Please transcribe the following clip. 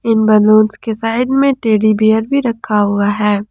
Balloons के side में teddy bear भी रखा हुआ है।